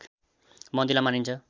मन्दिरलाई मानिन्छ